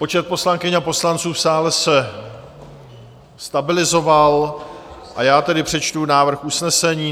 Počet poslankyň a poslanců v sále se stabilizoval, a já tedy přečtu návrh usnesení.